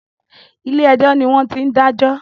Ilé ẹjọ́ ni wọ́n ti ń dájọ́